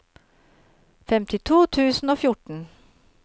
femtito tusen og fjorten